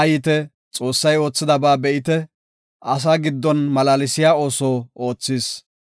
Haayite; Xoossay oothidaba be7ite; asaa giddon malaalsiya ooso oothis.